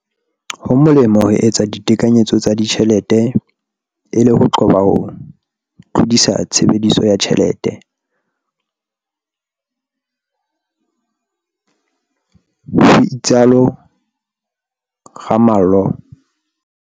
"Ho molemo ho etsa ditekanyetso tsa ditjhelete e le ho qoba ho tlodisa tshebediso ya tjhelete," ho itsalo Ramalho.